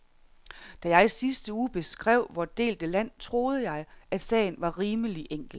Da jeg i sidste uge beskrev vort delte land, troede jeg, at sagen var rimelig enkel.